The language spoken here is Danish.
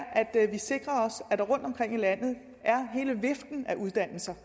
at vi sikrer os at der rundt omkring i landet er hele viften af uddannelser